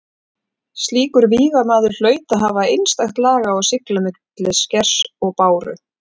Slíkur vígamaður hlaut að hafa einstakt lag á að sigla á milli skers og báru.